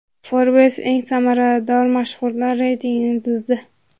Forbes eng serdaromad mashhurlar reytingini tuzdi.